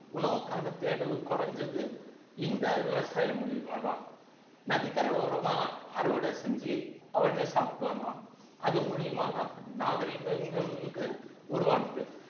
உணவுக்கான தேடலும் குறைஞ்சது இந்த விவசாயம் மூலியமா தான் நதிக்கரை ஓரமா அறுவடை செஞ்சு அவனே சாப்பிட்டு வந்தான் அது மூலியமா தான் நாகரிகங்களும் உருவானது